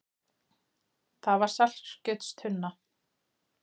Það var saltkjötstunna.